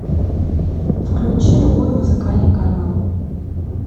включи любой музыкальный канал